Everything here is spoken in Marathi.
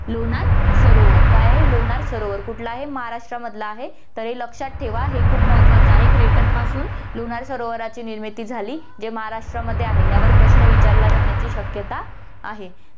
लोणार सरोवर, काय आहे लोणार सरोवर, कुठलं आहे, महाराष्ट्रामधलं आहे, तर हे लक्षात ठेवा, हे खूप महत्वाचं आहे, crater पासून लोणार सरोवराची निर्मिती झाली, जे महाराष्ट्रमध्ये आहे, यावर प्रश्न विचारलं जाण्याची शक्यता आहे.